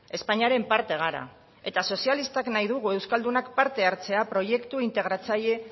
espainiaren parte gara eta sozialistak nahi dugu euskaldunak parte hartzea proiektu integratzaile